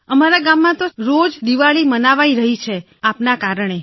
અમારા ગામમાં તો રોજ દિવાળી મનાવાઈ રહી છે તમારા કારણે